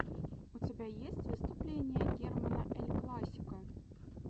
у тебя есть выступление германа эль классико